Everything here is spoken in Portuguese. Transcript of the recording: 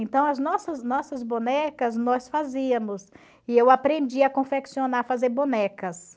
Então as nossas nossas bonecas nós fazíamos, e eu aprendi a confeccionar, fazer bonecas.